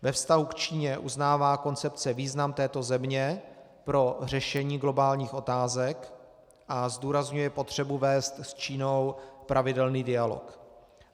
Ve vztahu k Číně uznává koncepce význam této země pro řešení globálních otázek a zdůrazňuje potřebu vést s Čínou pravidelný dialog.